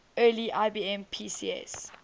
early ibm pcs